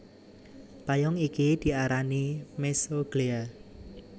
Payung iki diarani mesoglea